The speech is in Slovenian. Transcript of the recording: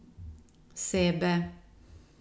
Sebe.